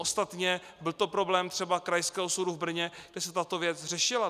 Ostatně byl to problém třeba Krajského soudu v Brně, kde se tato věc řešila.